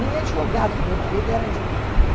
Nem advogado, porque meu marido era advogado.